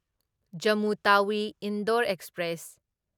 Jammu Tawi Indore express